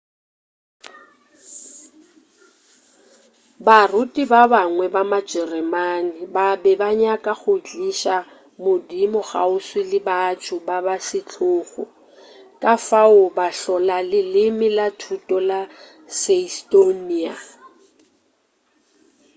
baruti ba bangwe ba majereman ba be ba nyaka go tliša modimo kgauswi le batho ba setlogo ka fao ba hlola leleme la thuto la seistoniya